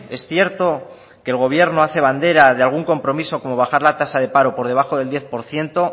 es cierto que el gobierno hace bandera de algún compromiso como bajar la tasa del paro por debajo del diez por ciento